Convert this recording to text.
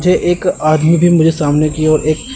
मुझे एक आदमी भी मुझे सामने की ओर एक--